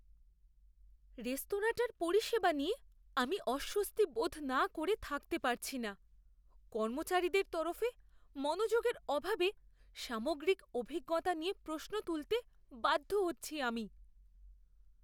রেস্তোরাঁটার পরিষেবা নিয়ে আমি অস্বস্তি বোধ না করে থাকতে পারছি না; কর্মচারীদের তরফে মনোযোগের অভাবে সামগ্রিক অভিজ্ঞতা নিয়ে প্রশ্ন তুলতে বাধ্য হচ্ছি আমি।